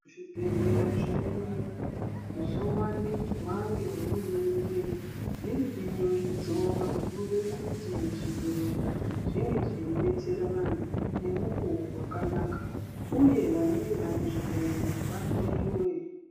Zvibhedhleya zvedu zvovandudzwa ngehurumende riri biningidzo rekude kuti zvibhedhleya zvinge zveidetsera vantu nemukuwo wakanaka uye vanenge vane zviyaiyo vahloyiwe.